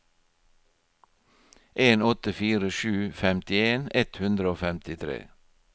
en åtte fire sju femtien ett hundre og femtitre